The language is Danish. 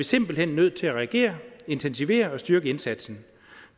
simpelt hen nødt til at reagere intensivere og styrke indsatsen